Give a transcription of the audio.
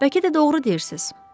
Bəlkə də doğru deyirsiz.